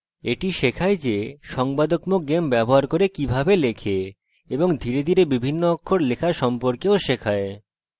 এটি শেখায় যে সংবাদকত্মক games ব্যবহার করে কিভাবে লেখে এবং ধীরে ধীরে বিভিন্ন অক্ষর লেখা সম্পর্কেও শেখায়